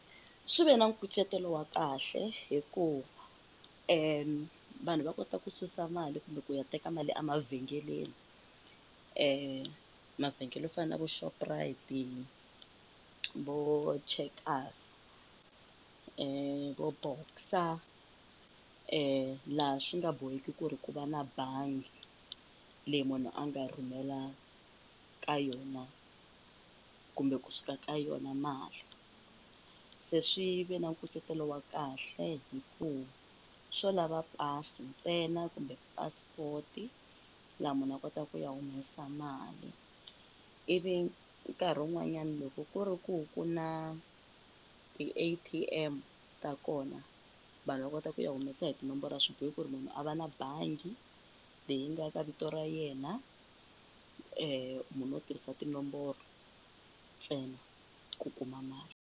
Swi ve na nkucetelo wa kahle hikuva vanhu va kota ku susa mali kumbe ku ya teka mali a mavhengeleni, mavhengele yo fana na vo Shoprite, vo Checkers, vo boxer laha swi nga boheki ku ri ku va na bangi leyi munhu a nga rhumela ka yona kumbe kusuka ka yona mali, se swi ve na nkucetelo wa kahle hikuva swo lava pasi ntsena kumbe passport laha munhu a kotaka ku ya humesa mali ivi nkarhi wun'wanyani loko ku ri ku ku na ti-A_T_M ta kona vanhu va kota ku ya humesa hi tinomboro a swibohi ku ri munhu a va na bangi leyi nga ka vito ra yena munhu u tirhisa tinomboro ntsena ku kuma mali.